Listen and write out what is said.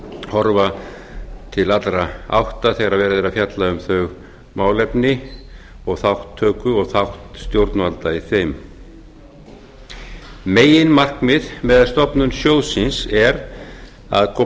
horfa til allra átta þegar verið er að fjalla um þau málefni og þátttöku og þátt stjórnvalda í þeim meginmarkmið með stofnun sjóðsins er að koma